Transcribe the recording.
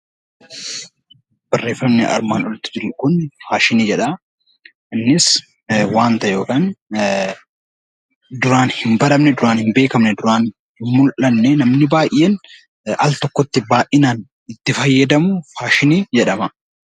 Faashiniin wanta duraan hin baramne kan duraan hin beekamne kan namni baay'een al tokkotti baay'inaan itti fayyadamu faashinii jedhama.